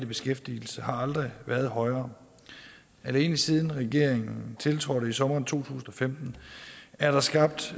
beskæftigelse har aldrig været højere alene siden regeringen tiltrådte i sommeren to tusind og femten er der skabt